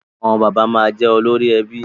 Àwọn bàbá máa jẹ olórí ẹbí